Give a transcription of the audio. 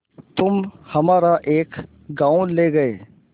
तुम हमारा एक गॉँव ले गये